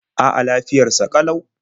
A'a, lafiyar sa ƙalau.